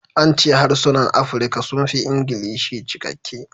An ce harsunan Afirka sun fi Ingilishi cikakke